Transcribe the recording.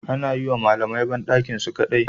Ana yiwa malamai bandakinsu su kadai